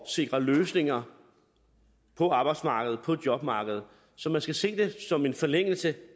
sikre løsninger på arbejdsmarkedet på jobmarkedet så man skal se det som en forlængelse